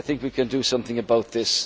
I think we can do something about this.